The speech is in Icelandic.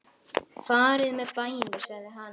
Farið með bænir sagði hann.